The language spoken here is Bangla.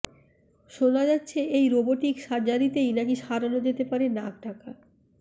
শোনা যাচ্ছে এই রোবোটিক সার্জারিতেই নাকি সারানো যেতে পারে নাক ডাকা